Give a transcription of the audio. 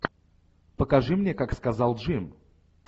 покажи мне как сказал джим